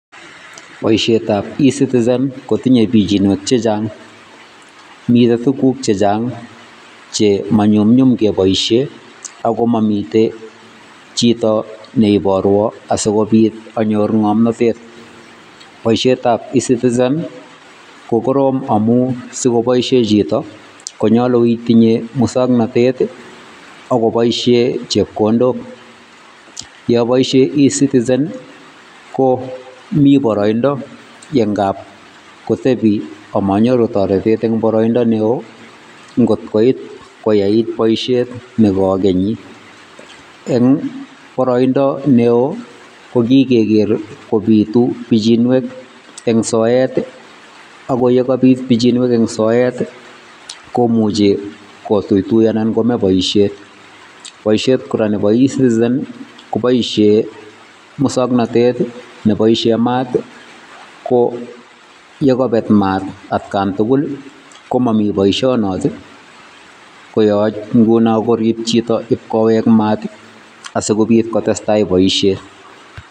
Boisietab E citizen kotinyei biichinwek chechang, mitei tuguk chechang chema nyumnyum kepoishen ak komamitei chito ne iporwa asikopit anyor ngomnatet. Boisietab Ecitizen kokorom amun sikopoishen chito konyolu itinye muswoknatet ako poishen chepkondok. yon boishe Ecitizen komi baraindo nengap kotepi komanyoru toretet eng baraindo neo. Ngot koit koyait boishet nekakenyi eng baraindo neo ko kigeer kopitu biichinwek eng soet ako yekapit biinchinwek eng soet komuchi kotuitui anan kome boisiet. Boisiet kora nebo Ecitizen kopoishen muswoknatet nepoishen maat ko yon kapeet maat atkan tugul komamii boisionot, koyo nguno koyache koriip chito ipkowek maat asikopi kotestai boisiet.